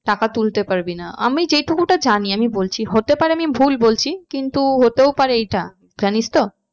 টাকা তুলতে পারবি না। আমি যে টুকুটা জানি আমি বলছি হতে পারে আমি ভুল বলছি কিন্তু হতেও পারে এইটা জানিস তো।